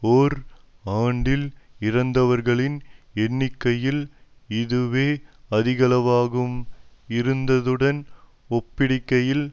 ஓர் ஆண்டில் இறந்தவர்களின் எண்ணிக்கையில் இதுவே அதிகளவாகும் இருந்ததுடன் ஒப்பிடுகையில்